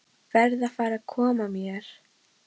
Verð að fara að koma mér.